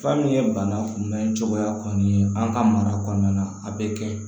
Fura min ye bana kunbɛn cogoya kɔni ye an ka mara kɔnɔna na a bɛ kɛ